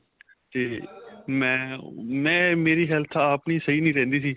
ਤੇ ਮੈਂ ਮੈਂ ਮੇਰੀ health ਆਪ ਹੀ ਸਹੀਂ ਨਹੀਂ ਰਹਿੰਦੀ ਸੀ